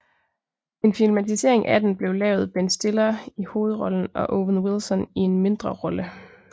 En filmatisering af den blevet lavet Ben Stiller i hovedrollen og Owen Wilson i en mindre rolle